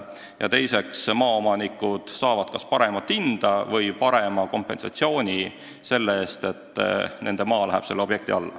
Ja teiseks, maaomanikud saavad kas paremat hinda või parema kompensatsiooni selle eest, et nende maa läheb selle objekti alla.